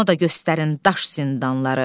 Ona da göstərin daş zindanları.